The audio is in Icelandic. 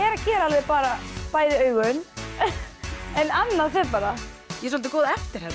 er að gera alveg bæði augun en annað fer bara ég er soldið góð eftirherma